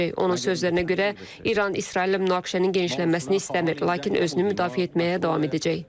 Onun sözlərinə görə, İran İsraillə münaqişənin genişlənməsini istəmir, lakin özünü müdafiə etməyə davam edəcək.